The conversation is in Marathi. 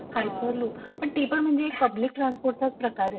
हायपरलूक पण ती म्हणजे पण पब्लिक ट्रान्सपोर्टचाच प्रकार येत.